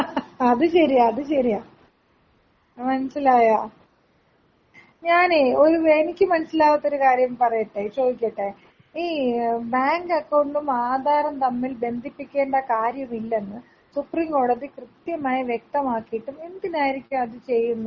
അത് ശെരിയാ അത് ശെരിയാ മാനസ്സിലായൊ ഞാനെയ് ഒരു വെ എനിക്ക് മനസ്സിലാവാത്ത ഒരു കാര്യം പറയട്ടെ ചോയിക്കട്ടെ ഈ ബാങ്ക് അക്കൗണ്ടും ആധാറും തമ്മിൽ ബന്ധിപ്പിക്കേണ്ട കാര്യമില്ലെന്ന് സുപ്രീം കോടതി കൃത്യമായ വ്യക്തമായിട്ടും എന്തിനായിരിക്കും അത് ചെയ്യുന്നത്.